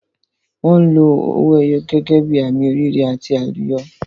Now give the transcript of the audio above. Wọn lo owó ẹyọ gẹ́gẹ́ bí àmì oríire àti àlùyọ.